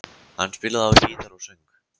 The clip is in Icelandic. Hann spilaði á gítar og söng.